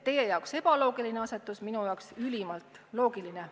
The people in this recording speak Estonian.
Teie jaoks on see ebaloogiline asetus, minu jaoks ülimalt loogiline.